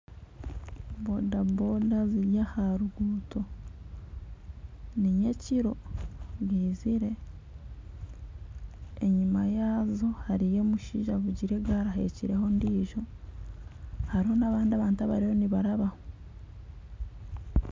Bodaboda ziri aha ruguuto, ni nyekiro bwizire, enyima yaazo hariyo omushaija avugire egaari ahekireho ondiijo hariho n'abandi abantu abariyo nibarabaho